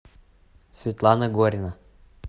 светлана горина